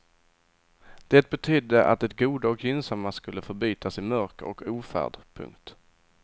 Det betydde att det goda och gynnsamma skulle förbytas i mörker och ofärd. punkt